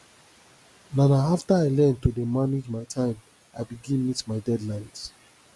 na na after i learn to dey manage my time i begin meet my deadlines